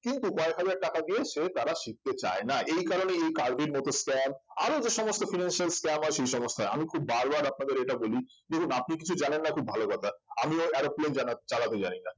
কিন্তু কয়েক হাজার টাকা দিয়ে সে তারা শিখতে চায় না এই কারণেই এই কার্ভির মতন scam আরো যে সমস্ত financial scam আছে সেই সমস্ত আমি খুব বারবার আপনাদের এটা বলি দেখুন আপনি কিছু জানেন না খুব ভালো কথা আমিও aeroplane জানা চালাতে জানিনা